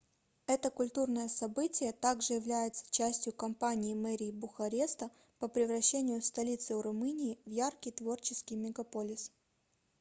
это культурное событие также является частью кампании мэрии бухареста по превращению столицы румынии в яркий творческий мегаполис